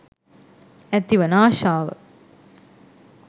ඇති වන ආශාව